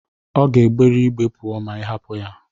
Ọ ga-egbere ígbé pụọ ma ị hapụ ya.